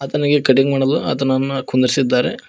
ಆತನಿಗೆ ಕಟಿಂಗ್ ಮಾಡಲು ಆತನನ್ನು ಕುಂದ್ರಿಸಿದ್ದಾರೆ.